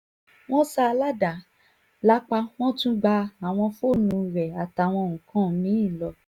wọ́n ṣá a ládàá lápá wọn tún gba àwọn fóònù rẹ̀ àtàwọn nǹkan mì-ín lọ